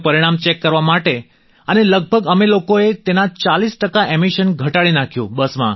તેનું પરિણામ ચેક કરવા માટે અને લગભગ અમે લોકોએ તેના 40 ટકા એમિશન ઘટાડી નાખ્યું